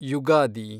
Ugadi